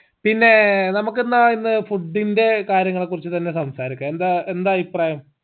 പിന്നേ നമുക്ക് എന്നാ ഇന്ന് food ന്റെ കാര്യങ്ങളെ കുറിച്ച് തന്നെ സംസാരിക്കാ എന്താ എന്താ അഭിപ്രായം